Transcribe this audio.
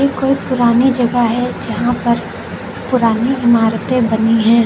इ कोई पुरानी जगह है जहां पर पुरानी इमारतें बनी हैं।